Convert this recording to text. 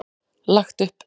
Lagt upp.